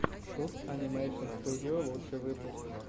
шут анимэйшн студио лучший выпуск